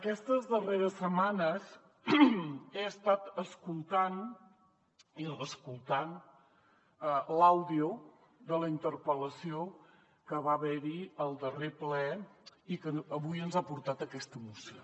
aquestes darreres setmanes he estat escoltant i reescoltant l’àudio de la interpel·lació que va haver hi al darrer ple i que avui ens ha portat aquesta moció